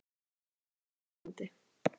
spyr hún kvartandi.